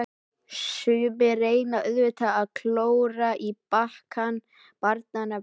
Sumir reyna auðvitað að klóra í bakkann barnanna vegna.